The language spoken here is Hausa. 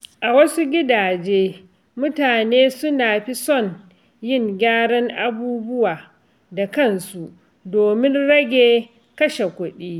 A wasu gidaje, mutane suna fi son yin gyaran abubuwa da kansu domin rage kashe kuɗi.